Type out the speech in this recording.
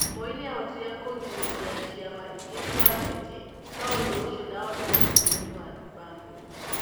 Moi nĩ aahotire kũgirĩrĩria ciama ingĩ cia gĩũteti, no ũndũ ũcio ndwahotire bũrũri-inĩ wa Zimbabwe.